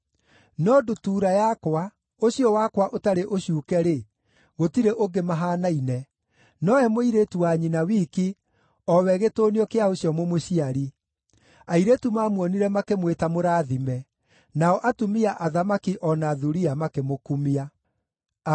no ndutura yakwa, ũcio wakwa ũtarĩ ũcuuke-rĩ, gũtirĩ ũngĩ mahaanaine, nowe mũirĩtu wa nyina wiki, o we gĩtũnio kĩa ũcio mũmũciari. Airĩtu maamuonire makĩmwĩta mũrathime; nao atumia athamaki o na thuriya makĩmũkumia.